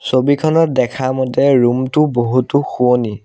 ছবিখনত দেখা মতে ৰূমটো বহুতো শুৱনি।